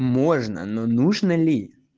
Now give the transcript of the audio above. можно но нужно ли